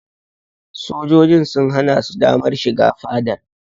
Sojojin sun hana su damar shiga fadar.